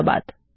ধন্যবাদ